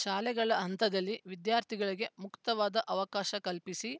ಶಾಲೆಗಳ ಹಂತದಲ್ಲಿ ವಿದ್ಯಾರ್ಥಿಗಳಿಗೆ ಮುಕ್ತವಾದ ಅವಕಾಶ ಕಲ್ಪಿಸಿ